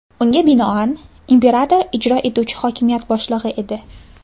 Unga binoan, imperator ijro etuvchi hokimiyat boshlig‘i edi.